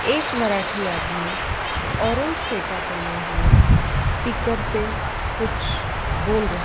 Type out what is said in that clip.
एक मराठी आदमी ऑरेंज फेटा पहने हुए स्पीकर पे कुछ बोल र--